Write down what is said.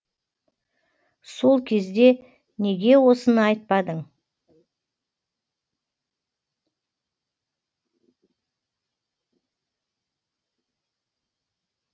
сол кезде неге осыны айтпадың